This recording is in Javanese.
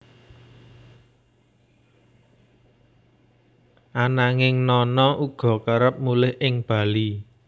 Ananging Nana uga kerep mulih ing Bali